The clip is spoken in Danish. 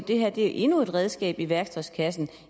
det her er endnu et redskab i værktøjskassen